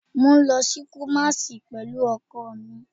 Mo n lọ si Kumasi pẹlu ọkọ mi